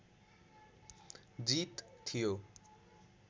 जित थियो